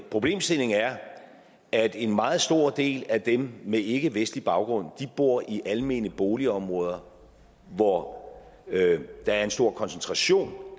problemstillingen er at en meget stor del af dem med ikkevestlig baggrund bor i almene boligområder hvor der er en stor koncentration